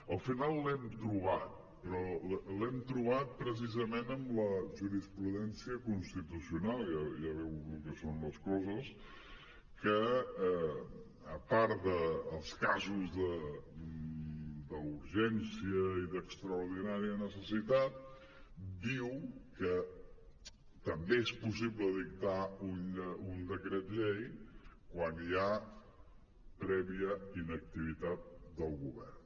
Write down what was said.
al final l’hem trobat però l’hem trobat precisament en la jurisprudència constitucional ja veu lo que són les coses que a part dels casos d’urgència i d’extraordinària necessitat diu que també és possible dictar un decret llei quan hi ha prèvia inactivitat del govern